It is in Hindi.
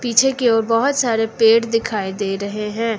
पीछे की ओर बहोत सारे पेड़ दिखाई दे रहे हैं।